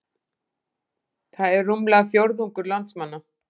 Það er rúmlega fjórðungur landsmanna